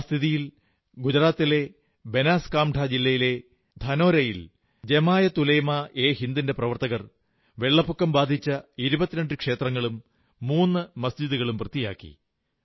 ആ സ്ഥിതിയിൽ ഗുജറാത്തിലെ ബനസ്കന്ധ ജില്ലയിലെ ധാനോരയിൽ ജമാഅത് ഉലമാ യേ ഹിന്ദിന്റെ പ്രവർത്തകർ വെള്ളപ്പൊക്കം ബാധിച്ച 22 ക്ഷേത്രങ്ങളും 3 മസ്ജിദുകളും വൃത്തിയാക്കി